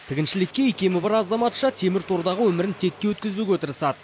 тігіншілікке икемі бар азаматша темір тордағы өмірін текке өткізбеуге тырысады